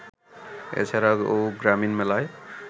এ ছাড়াও গ্রামীণ মেলায়